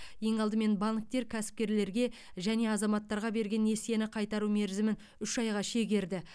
ең алдымен банктер кәсіпкерлерге және азаматтарға берген несиені қайтару мерзімін үш айға шегерді